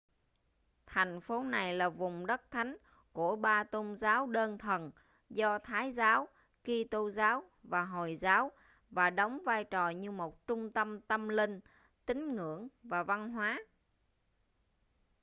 thành phố này là vùng đất thánh của ba tôn giáo đơn thần do thái giáo kito giáo và hồi giáo và đóng vai trò như một trung tâm tâm linh tín ngưỡng và văn hóa